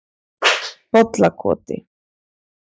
Bollakoti